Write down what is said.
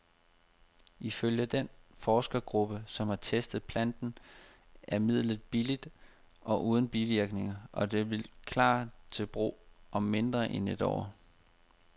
Ifølge den forskergruppe, som har testet planten, er midlet billigt og uden bivirkninger, og det vil klar til brug om mindre end et år.